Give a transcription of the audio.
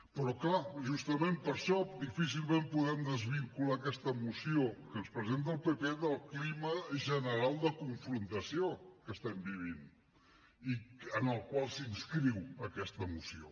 però és clar justament per això difícilment podem desvincular aquesta moció que ens presenta el pp del clima general de confrontació que estem vivint i en el qual s’inscriu aquesta moció